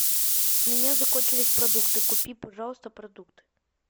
у меня закончились продукты купи пожалуйста продукты